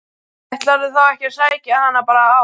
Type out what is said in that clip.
Ætlarðu þá ekki að sækja hana bara á